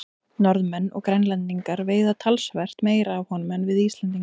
Norðmenn og Grænlendingar veiða talsvert meira af honum en við Íslendingar.